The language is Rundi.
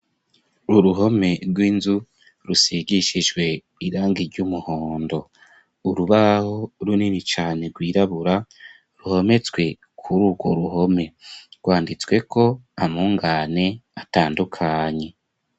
Uruhome rw'inzu rusigishijwe irangi ry'umuhondo. Urubaho runini cane rwirabura ruhometswe kuri urwo ruhome. Rwanditsweko amungane atandukanye.